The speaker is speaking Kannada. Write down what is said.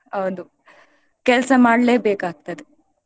ಹೌದು ಕೆಲ್ಸ ಮಾಡ್ಲೇಬೇಕಾಗ್ತದೆ.